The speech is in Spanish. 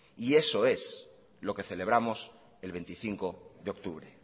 eso es lo que celebramos el veinticinco de octubre